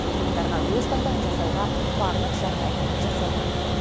тұрғындарға өз таңдауын жасауға барлық жағдай жасалған